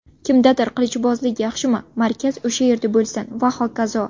Kimdadir qilichbozlik yaxshimi, markaz o‘sha yerda bo‘lsin va hokazo.